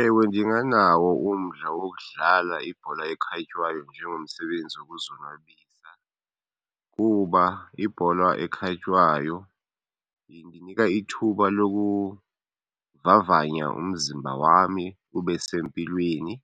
Ewe ndinganawo umdla wokudlala ibhola ekhatywayo njengomsebenzi wokuzonwabisa kuba ibholwa ekhatywayo indinika ithuba lokuvavanya umzimba wami ube sempilweni